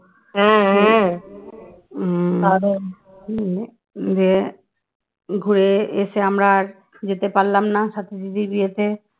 ঘুরে এসে আমরা আর যেতে পারলাম না সাথী দিদির বিয়েতে